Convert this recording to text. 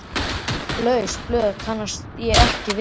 Laus blöð kannast ég ekki við.